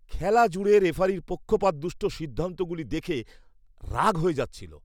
খেলা জুড়ে রেফারির পক্ষপাতদুষ্ট সিদ্ধান্তগুলি দেখে তো রাগ হয়ে যাচ্ছিল।